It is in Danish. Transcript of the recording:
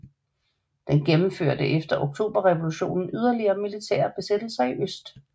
Den gennemførte efter oktoberrevolutionen yderligere militære besættelser i øst